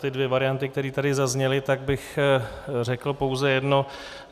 Ty dvě varianty, které tady zazněly, tak bych řekl pouze jedno.